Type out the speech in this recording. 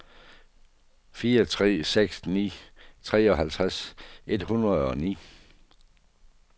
fire tre seks ni treoghalvtreds et hundrede og ni